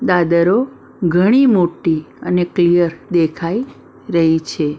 દાદરો ઘણ મોટી અને ક્લિયર દેખાઈ રહી છે.